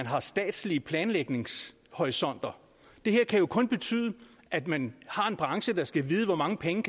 har statslige planlægningshorisonter det her kan jo kun betyde at man har en branche der skal vide hvor mange penge